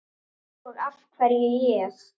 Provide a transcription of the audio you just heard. Og af hverju ég?